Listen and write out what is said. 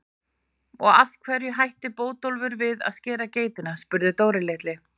Og af hverju hætti Bótólfur við að skera geitina? spurði Dóri litli.